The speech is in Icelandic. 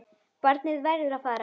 Barnið verður að fara.